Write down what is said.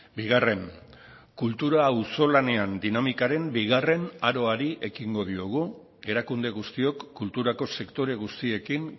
bigarren kultura auzolanean dinamikaren bigarren aroari ekingo diogu erakunde guztiok kulturako sektore guztiekin